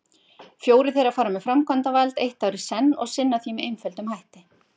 Fjórir þeirra fara með framkvæmdavald eitt ár í senn og sinna því með einföldum hætti.